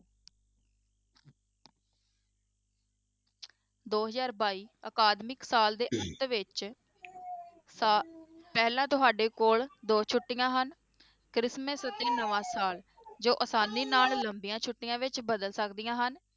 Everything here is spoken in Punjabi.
ਦੋ ਹਜ਼ਾਰ ਬਾਈ ਅਕਾਦਮਿਕ ਸਾਲ ਦੇ ਅੰਤ ਵਿੱਚ ਸਾ~ ਪਹਿਲਾਂ ਤੁਹਾਡੇ ਕੋਲ ਦੋ ਛੁੱਟੀਆਂ ਹਨ ਕ੍ਰਿਸਮਸ ਅਤੇ ਨਵਾਂ ਸਾਲ ਜੋ ਆਸਾਨੀ ਨਾਲ ਲੰਬੀਆਂ ਛੁੱਟੀਆਂ ਵਿੱਚ ਬਦਲ ਸਕਦੀਆਂ ਹਨ।